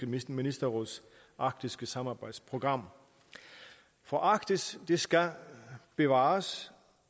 ministerråds arktiske samarbejdsprogram for arktis skal bevares